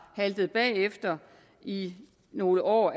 haltet bagefter i nogle år